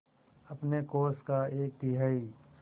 अपने कोष का एक तिहाई